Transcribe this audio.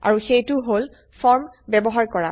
আৰু সেইটো হল ফৰ্ম ব্যবহাৰ কৰা